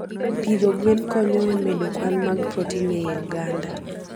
Pidho gwen konyo e medo kwan mag protein e oganda.